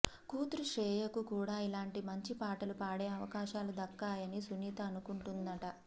కూతురు శ్రేయకు కూడా ఇలాంటి మంచి పాటలు పాడే అవకాశాలు దక్కాలని సునీత అనుకుంటుందట